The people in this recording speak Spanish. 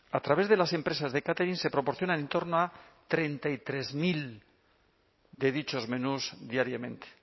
a través de las empresas de catering se proporcionan en torno a treinta y tres mil de dichos menús diariamente